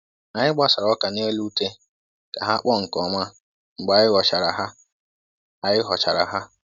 Anyị gbasara ọka n'elu ute ka ha kpọọ nke ọma mgbe anyị ghọchara ha. anyị ghọchara ha.